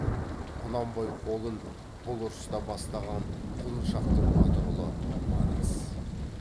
құнанбай қолын бұл ұрыста бастаған құлыншақтың батыр ұлы манас